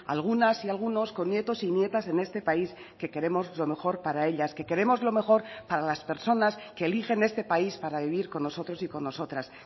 algunas y algunos con nietos y nietas en este país que queremos lo mejor para ellas que queremos lo mejor para las personas que eligen este país para vivir con nosotros y con nosotras